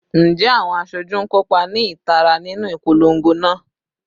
Njẹ awọn aṣoju n kopa ni itara ninu ipolongo naa?